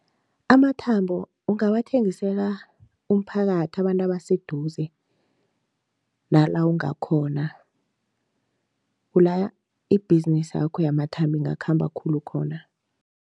Amathambo ungawathengisela umphakathi abantu abaseduze nala ungakhona, kula ibhizinisakho yamathambo ingakhamba khulu khona.